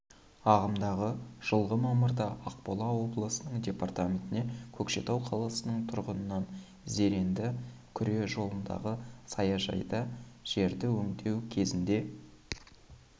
ағымдағы жылғы мамырда ақмола облысының департаментіне көкшетау қаласының тұрғынан зеренді күре жолындағы саяжайда жерді өңдеу кезінде